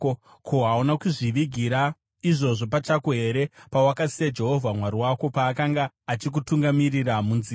Ko, hauna kuzvivigira izvozvo pachako here pawakasiya Jehovha Mwari wako paakanga achikutungamirira munzira?